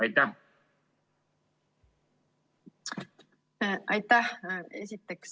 Aitäh!